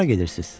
Hara gedirsiz?